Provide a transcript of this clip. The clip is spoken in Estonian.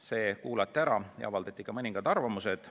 Need kuulati ära ja avaldati ka arvamust.